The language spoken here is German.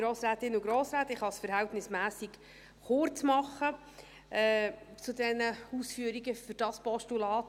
Ich kann es verhältnismässig kurz machen mit den Ausführungen zu diesem Postulat.